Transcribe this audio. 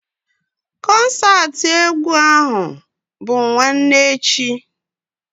Kọnsaati egwu ahụ bụ nwanne echi